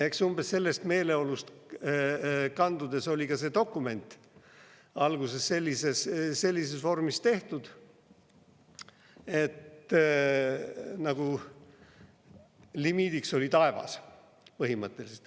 Eks umbes sellest meeleolust kandudes oli ka see dokument alguses sellises vormis tehtud, et põhimõtteliselt limiidiks oli taevas.